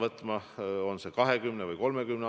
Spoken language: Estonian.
Infrastruktuurist ma tahaksingi edasi rääkida.